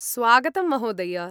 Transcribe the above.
स्वागतं, महोदय।